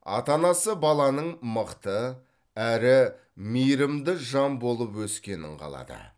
ата анасы баланың мықты әрі мейірімді жан болып өскенін қалады